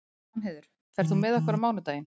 Danheiður, ferð þú með okkur á mánudaginn?